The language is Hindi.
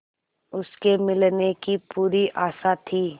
उसके मिलने की पूरी आशा थी